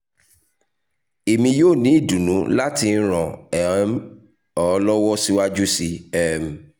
emi yoo ni idunnu lati ran um um ọ lọwọ siwaju sii um